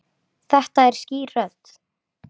Þetta er skýr rödd.